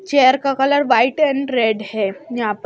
chair का colour white and red है यहां पर--